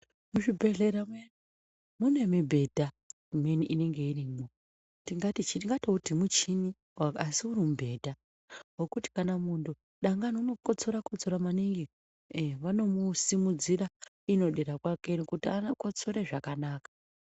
Muzvi bhedhlera muya mune mibhedha imweni inenge irimo tingatouti muchina asi urimubhedha wekuti kana muntu dakani ino kotsokotsora maningi ino musimudzira ino dera kwake ino kuti akotsere zvakanaka .